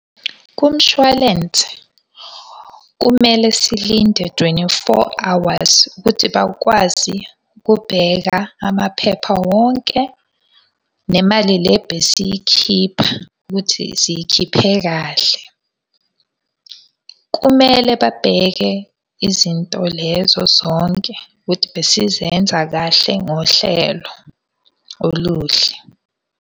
Kumshwalense kumele silinde twenty-four hours ukuthi bakwazi ukubheka amaphepha wonke, nemali le besiy'khipha, ukuthi siy'khiphe kahle. Kumele babheke izinto lezo zonke ukuthi besizenza kahle ngohlelo oluhle.